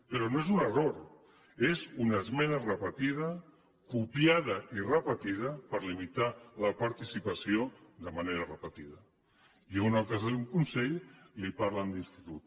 però no és un error és una esmena repetida copiada i repetida per limitar la participació de manera repetida i on el que esdevé un consell parlen d’institut